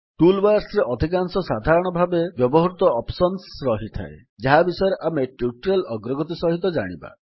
tool ବାର୍ସରେ ଅଧିକାଂଶ ସାଧାରଣ ଭାବେ ବ୍ୟବହୃତ ଅପ୍ସନ୍ସ ରହିଥାଏ ଯାହା ବିଷୟରେ ଆମେ ଟ୍ୟୁଟୋରିଆଲ୍ ଅଗ୍ରଗତି ସହିତ ଜାଣିବା